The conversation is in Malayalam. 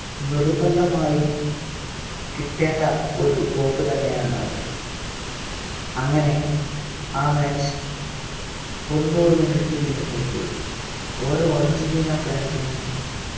നിർബന്ധമായും കിട്ടേണ്ട ഒരു trophy തന്നെയാണ് അത് അങ്ങനെ ആ match തൊണ്ണൂറ് minute പിന്നിട്ടപ്പോൾ ഓരോ അർജന്റീന fans നും